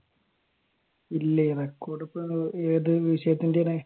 ഇല്ലേ record ഇപ്പൊ ഏതുവിഷയത്തിന്റെ ആണ്?